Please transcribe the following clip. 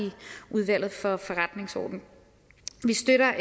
udvalget for forretningsordenen vi støtter